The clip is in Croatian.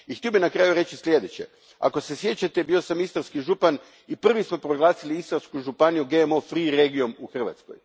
I htio bih na kraju reći sljedeće ako se sjećate, bio sam istarski župan i prvi smo proglasili Istarsku županiju GMO regijom u Hrvatskoj.